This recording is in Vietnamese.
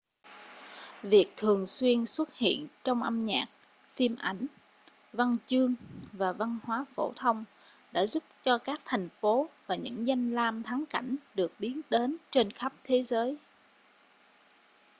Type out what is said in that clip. việc thường xuyên xuất hiện trong âm nhạc phim ảnh văn chương và văn hóa phổ thông đã giúp cho thành phố và những danh lam thắng cảnh được biết đến trên khắp thế giới